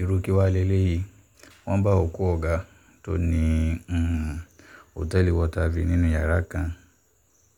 irú kí wàá lélẹ́yìí wọ́n bá òkú ọ̀gá tó ní um òtẹ́ẹ̀lì water view nínú yàrá kan